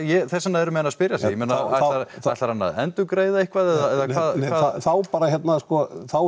þess vegna eru menn að spyrja sig ég meina ætlarðu að endurgreiða eitthvað eða hvað þá bara hérna sko þá